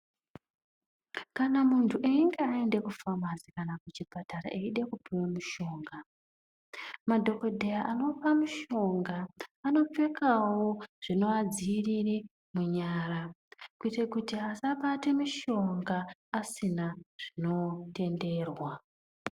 Kana muntu einge aenda kufamasi kana kuchipatara, eida kupuwa mishonga, madhokodheya anopa mushonga, anopfekawo zvinoadziirire munyara kuite kuti asabate mishonga asina zvinotenderwa.